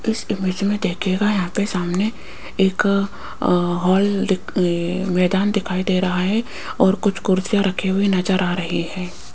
इस इमेज में देखिएगा यहाँ पे सामने एक अ हॉल दिख अ मैदान दिखाई दे रहा है और कुछ कुर्सियां रही हुए नजर आ रही हैं।